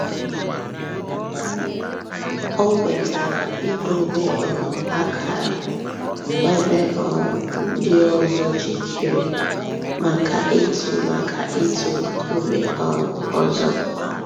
Ọ̀ kwètara ídòbè um àkárà èbè um ńdí òzò jìkèrè mǎká ị̀tụ̀ mǎká ị̀tụ̀ ńkùmé̀ um òzò.